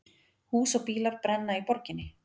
Hús og bílar brenna í borginni